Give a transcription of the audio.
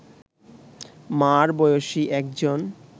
মা’র বয়সী একজন